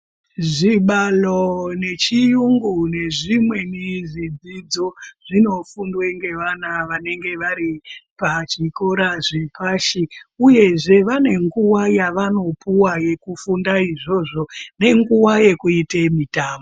Zvibalo nechiyungu nezvimweni zvidzidzo, zvinofundwa ngevana vanonga vari pachikora chepashi, uyezve vane nguwa yevanopuwa yekufunda izvozvo, nenguwa yekuite mitambo.